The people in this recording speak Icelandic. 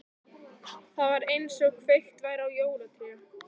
Það var einsog kveikt væri á jólatré.